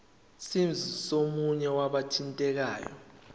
scheme somunye wabathintekayo